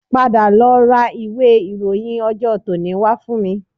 Padà lọ ra ìwé ìròyìn ọjọ́ tòní wá fún mi